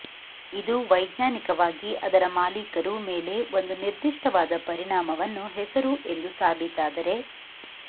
ಇದು ವೈಜ್ಞಾನಿಕವಾಗಿ ಅದರ ಮಾಲೀಕರು ಮೇಲೆ ಒಂದು ನಿರ್ದಿಷ್ಟವಾದ ಪರಿಣಾಮವನ್ನು ಹೆಸರು ಎಂದು ಸಾಬೀತಾದರೆ